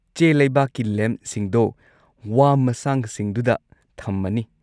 ꯆꯦꯂꯩꯕꯥꯛꯀꯤ ꯂꯦꯝꯞꯁꯤꯡꯗꯣ ꯋꯥ ꯃꯁꯥꯡꯁꯤꯡꯗꯨꯗ ꯊꯝꯃꯅꯤ꯫